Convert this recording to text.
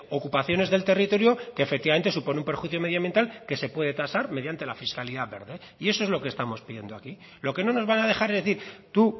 ocupaciones del territorio que efectivamente supone un perjuicio medioambiental que se puede tasar mediante la fiscalidad verde y eso es lo que estamos pidiendo aquí lo que no nos van a dejar es decir tú